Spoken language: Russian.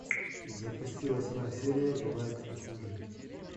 запусти восьмая серия бывает и хуже